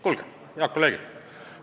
Kuulge, head kolleegid!